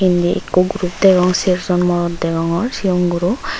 indi ikko group degong cher jon morot degongor chigon guro.